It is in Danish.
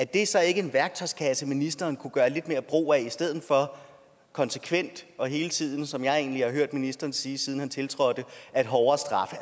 det så ikke en værktøjskasse ministeren kunne gøre lidt mere brug af i stedet for konsekvent og hele tiden som jeg egentlig har hørt ministeren sige siden han tiltrådte at hårdere straffe